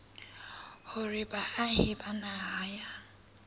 hore baahi ba naha ya